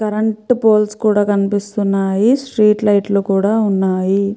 Current poles కూడా కనిపిస్తున్నాయి street lights లు కూడా ఉన్నాయి.